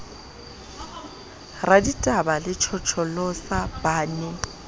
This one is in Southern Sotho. raditaba le tjhotjholosa ba ne